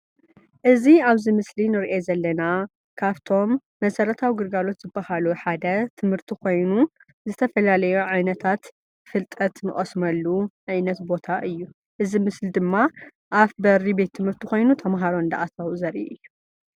እዚ ኣብዚ ምስሊ ንርኦ ዘለና ካብቶም መሰረታዊ ግልጋሎት ዝባሃሉ ሓደ ትምህርቲ ኮይኑ ዝተፈላለዩ ዓይነታት ፍልጠት ንቀስመሉ ዓይነት ቦታ እዩ:: እዚ ምስሊ ድማ ኣብ በሪ ቤት ትምህርቲ ኮይኑ ተማሃሮ እንዳኣተዉ ዘርኢ እዩ።